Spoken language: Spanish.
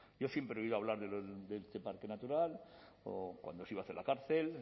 yo siempre he oído hablar de este parque natural o cuando se iba a hacer la cárcel